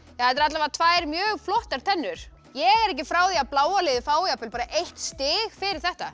eru allavega tvær mjög flottar tennur ég er ekki frá því að bláa liðið fái jafnvel eitt stig fyrir þetta